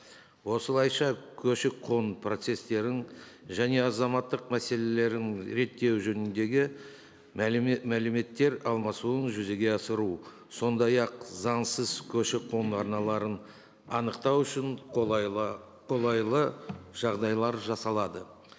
осылайша көші қон процестерін және азаматтық мәселелерін реттеу жөніндегі мәліметтер алмасуын жүзеге асыру сондай ақ заңсыз көші қон арналарын анықтау үшін қолайлы жағдайлар жасалады